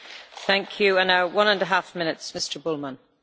Frau Präsidentin, werte Kolleginnen und Kollegen!